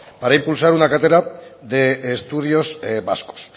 para impulsar una cátedra de estudios vascos